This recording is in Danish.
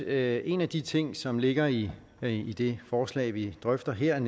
at en af de ting som ligger i det forslag vi drøfter her